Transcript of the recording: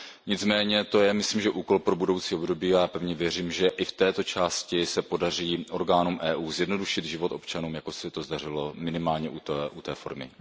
Nicméně to je, myslím, úkol pro budoucí období a já pevně věřím, že i v této části se podaří orgánům EU zjednodušit život občanům, jako se to zdařilo minimálně u té formy.